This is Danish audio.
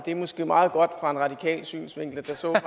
er måske meget godt fra en radikal synsvinkel for så var